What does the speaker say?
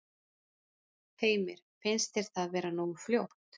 Heimir: Finnst þér það vera nógu fljótt?